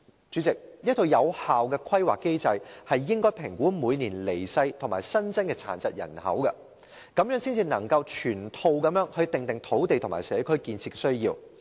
主席，一個有效的規劃機制應該評估每年離世和新增的殘疾人口，這樣才能全面地訂定土地和社區建設目標。